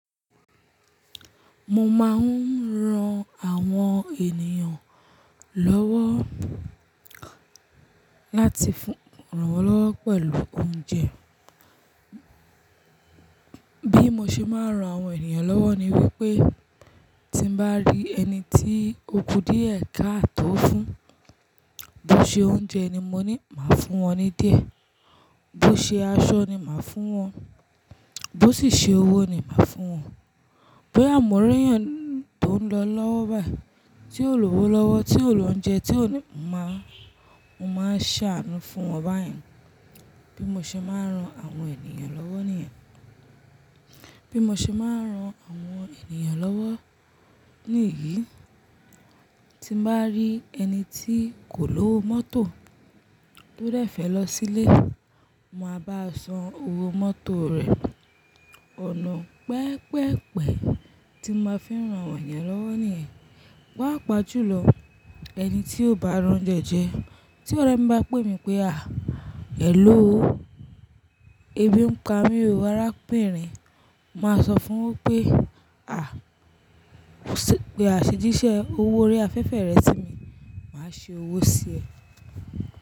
Mo máa ń ran àwọn ènìyàn lọ́wọ́ láti fún, rànwọ́ lọ́wọ́ pẹ̀lú oúnjẹ. Bí mo ṣe máa ń ran àwọn ènìyàn lọ́wọ́ ni wípé tí n bá rí ẹni tí ò kú díẹ̀ káátó fún, bó ṣe oúnjẹ ni mo ní má fún wọn ní díẹ̀, bó ṣe aṣọ ni màá fún wọn, bó sì ṣe owó ni màá fún wọn. Bóyá mọ̀ n r'ẹ́yàn tó ń lọ lọ́wọ́ báyìí tí ò lọ́wọ́lọ́wọ́, tí ò lọ oúnjẹ, tí ò ní, mo máa, mo máa ń ṣàánú fún wọn báyìí. Bí mo ṣe máa ń ran àwọn ènìyàn lọ́wọ́ nìyẹn. Bí mo ṣe máa ń ran àwọn ènìyàn lọ́wọ́ níyìí tí n bá rí ẹni tí kò lówó mọ́tò, tó dẹ̀ fẹ́ lọ sílé, mo máa bá a san owó mọ́tò rẹ̀. Ọ̀nà pẹ́pẹ̀pẹ̀ tí ma fi ń ràn àwọ́n èèyàn lọ́wọ́ nìyẹn. Páàpà jùlọ ẹni tí ó bá r'óúnjẹ́ jẹ́, tí ọ̀rẹ́ mi bá pè mí pé "à, hello, ebi ń pa mí, arábìnrin." Mo máa sọ fún wípé "à, pe àṣejíṣẹ́, owó orí afẹ́fẹ́ rẹ si mi, màá ṣe owó sí ẹ.